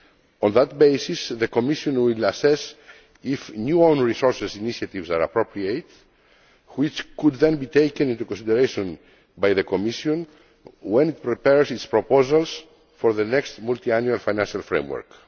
On that basis the Commission will assess whether new own resource initiatives are appropriate, which could then be taken into consideration by the Commission when it prepares its proposals for the next multiannual financial framework.